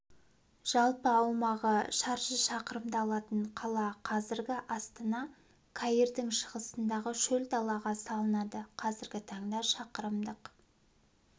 жалпы аумағы шаршы шақырымды алатын қала қазіргі астана каирдың шығысындағы шөл далаға салынады қазіргі таңда шақырымдық